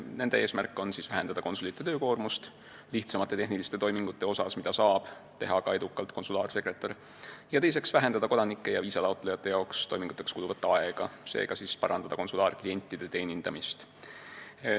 Nende eesmärk on vähendada konsulite töökoormust lihtsamate tehniliste toimingute puhul, mida saab edukalt teha ka konsulaarsekretär, ning vähendada kodanike ja viisataotlejate toiminguteks kuluvat aega, seega parandada konsulaarklientide teenindamist.